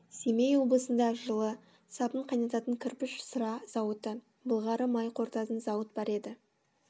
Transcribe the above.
семей облысында жылы сабын қайнататын кірпіш сыра зауыты былғары май қорытатын зауыт бар еді